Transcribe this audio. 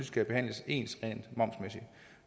skal behandles ens